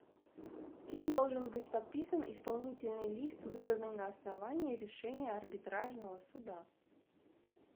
кем должен быть подписан исполнительный лист выданный на основании решения арбитражного суда